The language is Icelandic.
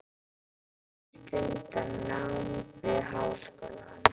Hún stundar nám við háskólann.